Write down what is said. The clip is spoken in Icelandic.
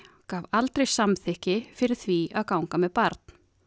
gaf aldrei samþykki fyrir því að ganga með barn